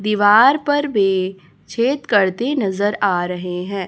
दीवार पर भी छेद करते नजर आ रहे हैं।